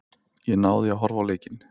Ég náði að horfa á leikinn.